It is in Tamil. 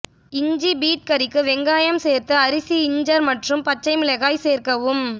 இஞ்சி பீட் கறிக்கு வெங்காயம் சேர்த்து அரிசி இஞ்செர் மற்றும் பச்சை மிளகாய் சேர்க்கவும்